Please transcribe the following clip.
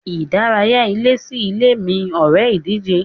Ìdárayá ilé sí ilé mí ore ìdíje.